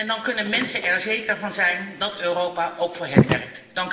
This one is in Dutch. Dan kunnen mensen er zeker van zijn dat Europa ook voor hen werkt.